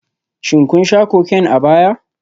Shin kun sha Cocaine a baya?